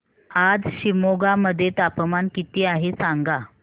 आज शिमोगा मध्ये तापमान किती आहे सांगा